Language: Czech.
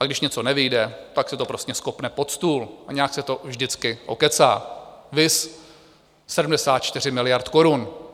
A když něco nevyjde, tak se to prostě skopne pod stůl a nějak se to vždycky okecá, viz 74 miliard korun.